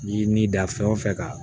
Ni ni da fɛn o fɛn ka